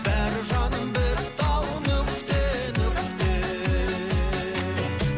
бәрі жаным бітті ау нүкте нүкте